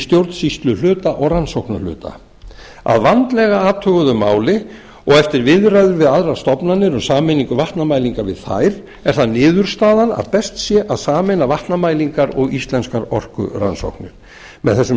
stjórnsýsluhluta og rannsóknahluta að vandlega athuguðu máli og eftir viðræður við aðrar stofnanir um sameiningu vatnamælinga við þær er það niðurstaðan að best sé að sameina vatnamælingar og íslenskar orkurannsóknir með þessum